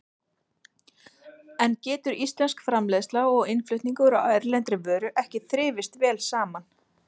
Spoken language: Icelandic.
En getur íslensk framleiðsla og innflutningur á erlendri vöru ekki þrifist vel saman?